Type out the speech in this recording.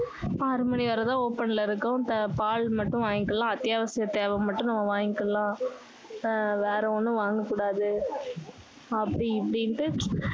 ஆறு மணி வரை தான் open ல இருக்கும் பால் மட்டும் வாங்கிக்கலாம் அத்தியாவசிய தேவை மட்டும் நம்ம வாங்கிக்கலாம் ஆஹ் வேற ஒண்ணும் வாங்க கூடாது அப்படி இப்படின்னு